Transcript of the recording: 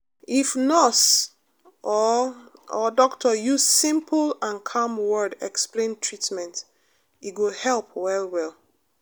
if nurse or or doctor use simple and calm word explain treatment e go help well well.